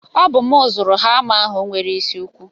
Ọ bụ m zụrụ hama ahụ nwere isi ukwu.